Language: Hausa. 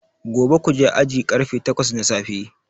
Gobe kuje aji karfe takwas na safe